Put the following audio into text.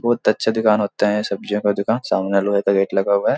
बहुत अच्छा दुकान होता है। सब्जियों का दूकान सामने लोहे का गेट लगा हुआ है।